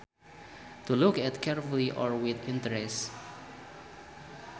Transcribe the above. To look at carefully or with interest